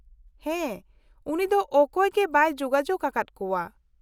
-ᱦᱮᱸ, ᱩᱱᱤ ᱫᱚ ᱚᱠᱚᱭ ᱜᱮ ᱵᱟᱭ ᱡᱳᱜᱟᱡᱳᱜ ᱟᱠᱟᱫ ᱠᱚᱣᱟ ᱾